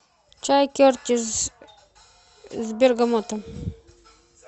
чай кертис с бергамотом